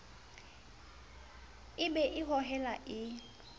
e be e hohelang e